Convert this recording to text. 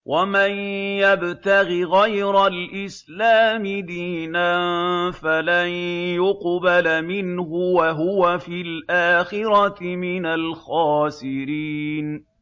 وَمَن يَبْتَغِ غَيْرَ الْإِسْلَامِ دِينًا فَلَن يُقْبَلَ مِنْهُ وَهُوَ فِي الْآخِرَةِ مِنَ الْخَاسِرِينَ